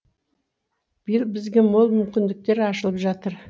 биыл бізге мол мүмкіндіктер ашылып жатыр